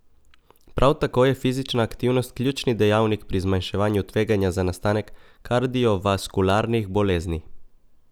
Prav tako je fizična aktivnost ključni dejavnik pri zmanjševanju tveganja za nastanek kardiovaskularnih bolezni.